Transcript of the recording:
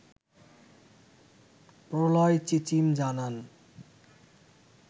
প্রলয় চিচিম জানান